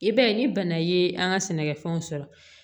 I b'a ye ni bana ye an ka sɛnɛkɛfɛnw sɔrɔ